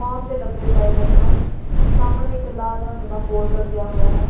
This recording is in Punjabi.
ਫੌਮ ਦੇ ਡੱਬੇ ਪਏ ਹੋਏ ਹਨ ਸਾਹਮਣੇ ਇੱਕ ਲਾਲ ਰੰਗ ਦਾ ਬੋਰਡ ਲੱਗਿਆ ਹੋਇਆ ਹੈ।